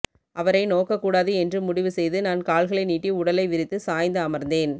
அவரை நோக்கக்கூடாது என்று முடிவு செய்து நான் கால்களை நீட்டி உடலை விரித்து சாய்ந்து அமர்ந்தேன்